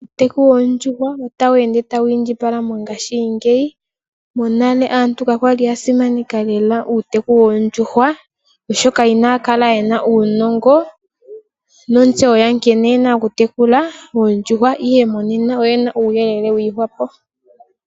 Uuteku woondjuhwa ota wu ende tawu indjipala methimbo lyonena, monale aantu kayali yena ohokwe yokutekula oondjuhwa oshoka kaya li yeshi omauwanawa gadho.